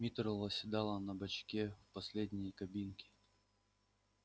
миртл восседала на бачке в последней кабинке